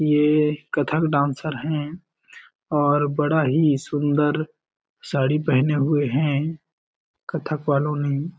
ये कथक डांसर है और बड़ा ही सुन्दर साड़ी पहने हुए है कत्थक वालो ने--